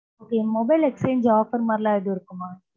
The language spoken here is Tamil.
என் mobile exchange, offer மாதிரி எல்லாம் எதுவும் இருக்குமா?